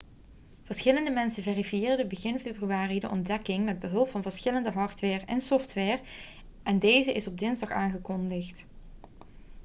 verschillende mensen verifieerden begin februari de ontdekking met behulp van verschillende hardware en software en deze is op dinsdag aangekondigd